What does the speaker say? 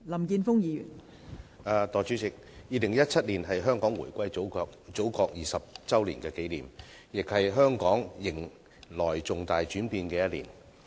代理主席 ，2017 年是香港回歸祖國20周年紀念，亦是香港迎來重大轉變的一年。